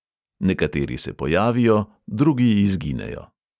Nekateri se pojavijo, drugi izginejo.